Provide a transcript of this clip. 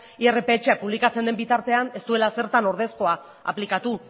irpha publikatzen den bitartean ez duela ezertan ordezkoa aplikatu